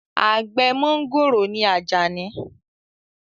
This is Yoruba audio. Àgbẹ̀ mọ́ngòrò ni Àjàní